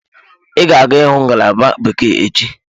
Ị ga-aga ịhụ ngalaba bekee echi?